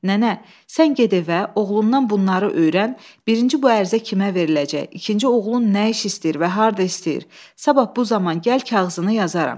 Nənə, sən get evə, oğlundan bunları öyrən, birinci bu ərizə kimə veriləcək, ikinci oğlun nə iş istəyir və harda istəyir, sabah bu zaman gəl kağızını yazaram.